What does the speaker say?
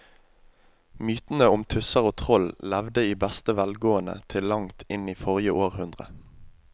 Mytene om tusser og troll levde i beste velgående til langt inn i forrige århundre.